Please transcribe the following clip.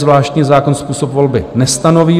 Zvláštní zákon způsob volby nestanoví.